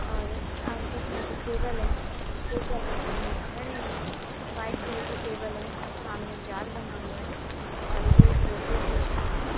और आसपास यहां पे टेबल हैं दो चार बच्चे यहां पे खड़े हैं व्हाइट कलर की टेबल है सामने जाल बना हुआ है और ये एक रेलवे स्टेशन है।